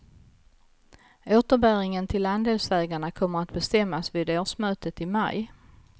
Återbäringen till andelsägarna kommer att bestämmas vid årsmötet i maj.